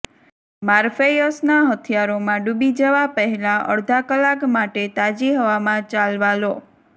મોર્ફેયસના હથિયારોમાં ડૂબી જવા પહેલાં અડધા કલાક માટે તાજી હવામાં ચાલવા લો